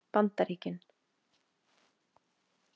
Bandaríkin